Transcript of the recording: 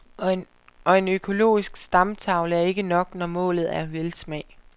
Og en økologisk stamtavle er ikke nok, når målet er velsmag.